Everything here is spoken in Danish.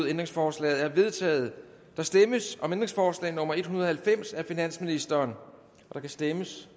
ændringsforslaget er vedtaget der stemmes om ændringsforslag nummer en hundrede og halvfems af finansministeren der kan stemmes